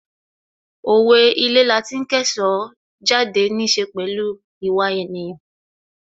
Owe' Ilé lati ń kẹ́ṣọ̀ọ́ jáde' níí ṣe pẹ̀lú ìwà ènìyàn